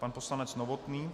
Pan poslanec Novotný.